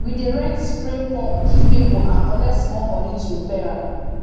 we dey rent spray pump give people and collect small money to repair am